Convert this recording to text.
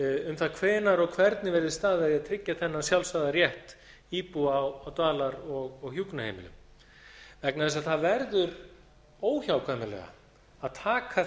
um það hvenær og hvernig verði staðið að því að tryggja þennan sjálfsagða rétt íbúa á dvalar og hjúkrunarheimilum vegna þess að það verður óhjákvæmilega að taka